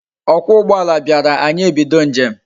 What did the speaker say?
Okwa ugboala biara anyi ebido njem